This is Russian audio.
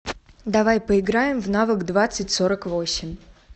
давай поиграем в навык двадцать сорок восемь